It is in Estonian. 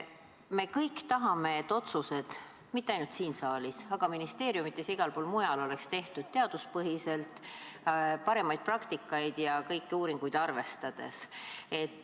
Me kõik tahame, et otsused – mitte ainult siin saalis, vaid ka ministeeriumides ja igal pool mujal – oleks tehtud teaduspõhiselt, parimat praktikat ja kõiki uuringuid arvestades.